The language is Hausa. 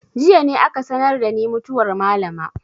Jiya ne aka sanar da ni mutuwar malama.